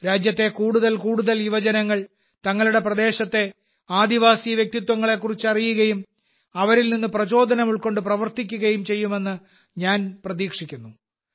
രാജ്യത്തെ കൂടുതൽ കൂടുതൽ യുവജനങ്ങൾ തങ്ങളുടെ പ്രദേശത്തെ ആദിവാസി വ്യക്തിത്വങ്ങളെക്കുറിച്ച് അറിയുകയും അവരിൽ നിന്ന് പ്രചോദനം ഉൾക്കൊണ്ട് പ്രവർത്തിക്കുകയും ചെയ്യുമെന്ന് ഞാൻ പ്രതീക്ഷിക്കുന്നു